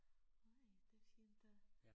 Nej det fint at